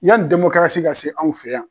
Y'ani demokarasi ka se anw fɛ yan.